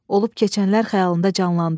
Olub keçənlər xəyalında canlandı.